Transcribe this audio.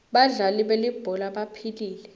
badlali belibhola baphilile